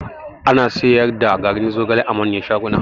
Ana siyar da garin zogale a manyan shaguna